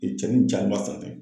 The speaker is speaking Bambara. cɛnni jaa kun ma san dɛ.